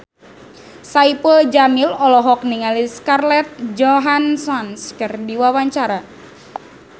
Saipul Jamil olohok ningali Scarlett Johansson keur diwawancara